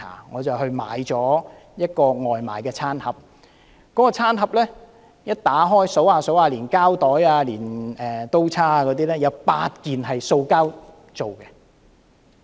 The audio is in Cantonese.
我買了一個外賣餐盒，打開後我數一數，連膠袋及刀叉在內，共有8件是塑膠製品。